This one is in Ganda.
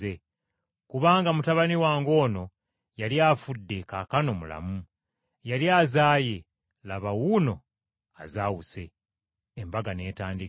Kubanga mutabani wange ono yali afudde kaakano mulamu, yali azaaye laba wuuno azaawuse.’ Embaga n’etandika.